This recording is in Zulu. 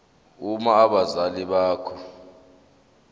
uma abazali bakho